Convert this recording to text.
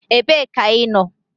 Ebee ka ị nọ?